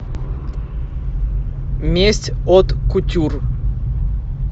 месть от кутюр